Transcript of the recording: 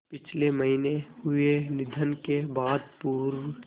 पिछले महीने हुए निधन के बाद पूर्व